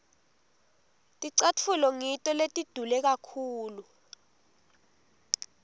ticatfulo ngito letidule kakhulu